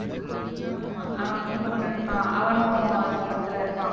ஆமா, அவன் குண்டு குண்டுன்னு இருப்பானே. அவனும் அந்தப் படத்துல இருப்பான்